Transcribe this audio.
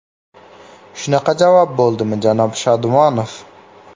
Shunaqa javob bo‘ldimi, janob Shodmonov?